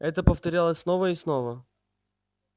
это повторялось снова и снова